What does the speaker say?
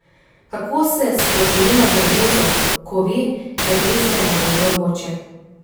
Kako se spoprijema z nervozo, ko ve, da greste na vojno območje?